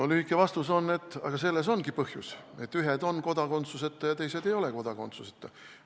Lühike vastus on, et selles ongi põhjus, et ühed on kodakondsuseta ja teised ei ole kodakondsuseta.